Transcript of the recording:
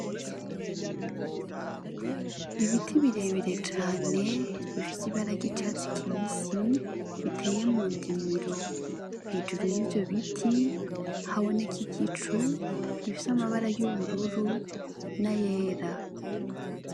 Ibiti birebire cane bifise ibara ry'icatsi kibisi biteye mu ndimiro hejuru yivyo biti haboneka igicu gifise amabara y'ubururu n'ayera.